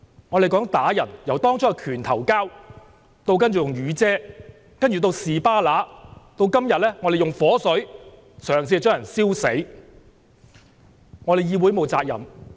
他們打人，由當初的"拳頭交"，然後用雨傘、"士巴拿"，到今天用火水企圖燒死人。